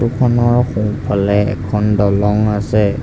Photo খনৰ সোঁফালে এখন দলং আছে।